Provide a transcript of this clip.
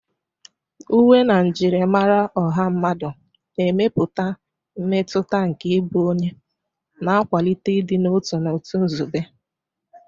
Uwe na njirimara ọha mmadụ na-emepụta mmetụta nke ịbụ onye, na-akwalite ịdị n'otu na otu nzube.